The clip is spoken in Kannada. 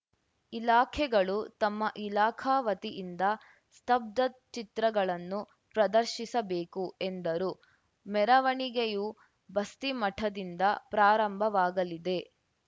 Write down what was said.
ಇಲಾಖೆಗಳು ತಮ್ಮ ಇಲಾಖಾ ವತಿಯಿಂದ ಸ್ತಬ್ಧಚಿತ್ರಗಳನ್ನು ಪ್ರದರ್ಶಿಸಬೇಕು ಎಂದರು ಮೆರವಣಿಗೆಯು ಬಸ್ತಿಮಠದಿಂದ ಪ್ರಾರಂಭವಾಗಲಿದೆ